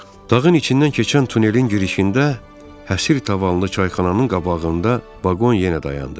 Dağın içindən keçən tunelin girişində, həsir tavanlı çayxananın qabağında vaqon yenə dayandı.